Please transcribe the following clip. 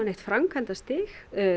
framkvæmdastig